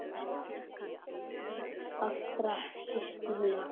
Allra síst núna.